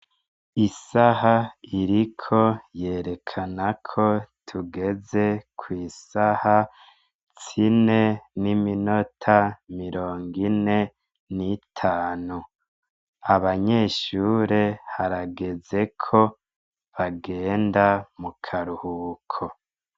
Isaha iriko yerekana ko tugeze kw'isaha zine n'iminota mirongo ine n'itanu. Abanyeshure harageze ko bagenda mu karuhuko.